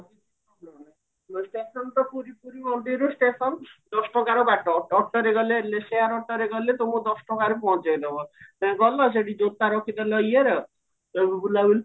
ତ ପୁରୀ ପୁରୀ ମନ୍ଦିରରୁ station ଦଶ ଟଙ୍କାର ବାଟ autoରେ ଗଲେ share autoରେ ଗଲେ ତମକୁ ଦଶ ଟଙ୍କାରେ ପହଞ୍ଚେଇଦବ ଗଲ ସେଠି ଜୋତା ରଖିଦେଲ ଇଏର ବୁଲା ବୁଲି